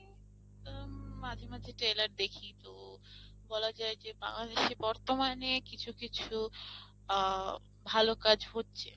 উম মাঝেমাঝে trailer দেখি তো বলা যায় যে বাংলাদেশে বর্তমানে কিছু কিছু ভাল কাজ হচ্ছে।